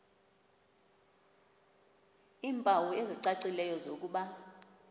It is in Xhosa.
iimpawu ezicacileyo zokuba